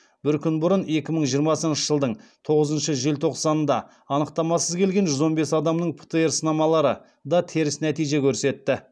бір күн бұрын екі мың жиырмасыншы жылдың тоғызыншы желтоқсанында анықтамасыз келген жүз он бес адамның птр сынамалары да теріс нәтиже көрсетті